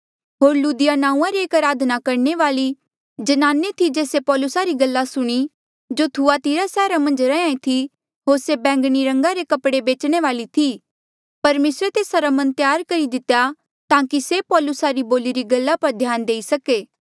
होर लुदिया नांऊँआं री एक अराधना करणे वाल्ई ज्नाने थी जेस्से पौलूसा री गल्ला सुणी जो थुआतिरा सैहरा मन्झ रैंहयां ईं थी होर से बैंगणी रंगा रे कपड़े बेचणे वाली थी परमेसरे तेस्सा रा मन त्यार करी दितेया ताकि से पौलुसा री बोलिरी गल्ला पर ध्यान देई सके